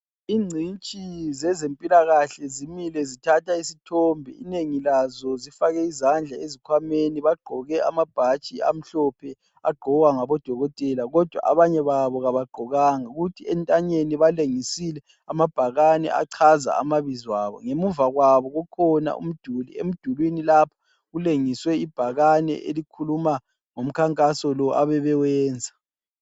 Ingcitshi zezempilakahle zimile zithatha isithombe. Inengi lazo zifake izandla ezikhwameni , bagqoke amabhatshi amhlophe agqokwa ngabodokotela kodwa abanye babo kabagqokanga, kuthi entanyeni balengisile amabhakane achaza amabizo abo. Ngemuva kwabo kukhona umduli. Emdulini lapho kulengiswe ibhakane elikhuluma ngomkhankaso lo abebewenza.